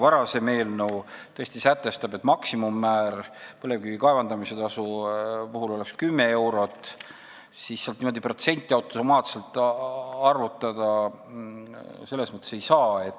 Varasem eelnõu tõesti sätestab, et põlevkivi kaevandamise tasu puhul oleks maksimummäär 10 eurot, aga sealt niimoodi protsenti automaatselt arvutada ei saa.